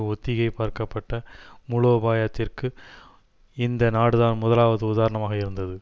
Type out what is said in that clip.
ஒத்திகை பார்க்கப்பட்ட மூலோபாயத்திற்கு இந்த நாடுதான் முதலாவது உதராணமாக இருந்தது